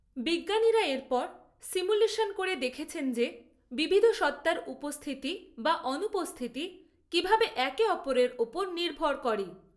বিজ্ঞানীরা এরপর সিমুলেশন করে দেখেছেন যে, বিবিধ সত্তার উপস্থিতি বা অনুপস্থিতি কিভাবে একে অপরের ওপর নির্ভর করে।